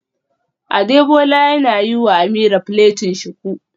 Adebola yana yiwa Ameerah plaiting shuku